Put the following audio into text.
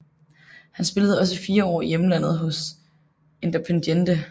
Han spillede også fire år i hjemlandet hos Independiente